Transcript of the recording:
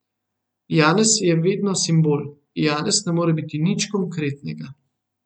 Janez je vedno simbol, Janez ne more biti nič konkretnega.